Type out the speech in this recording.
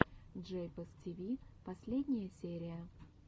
джейпос тиви последняя серия